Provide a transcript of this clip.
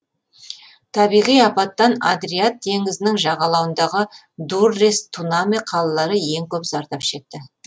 табиғи апаттан адриат теңізінің жағалауындағы дуррес тунаме қалалары ең көп зардап шекті